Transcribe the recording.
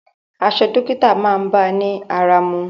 Aṣọ dókítà máa bá ọ ní ara mu.